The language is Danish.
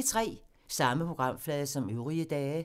Samme programflade som øvrige dage